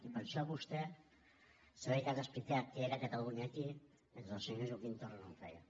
i per això vostè s’ha dedicat a explicar què era catalunya aquí mentre el senyor joaquim torra no ho feia